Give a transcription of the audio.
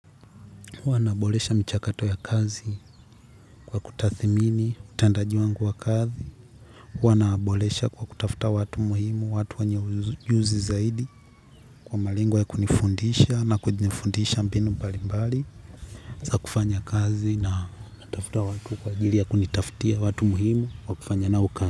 Uwa na bolesha michakato ya kazi kwa kutathimini, utendaji wangu wa kazi, huwa na bolesha kwa kutafta watu muhimu, watu wenye ujuzi zaidi kwa malingo ya kunifundisha na kunifundisha mbinu mbalimbali, za kufanya kazi na kutafta watu kwa ajili ya kunitaftia watu muhimu, wakufanya nao kazi.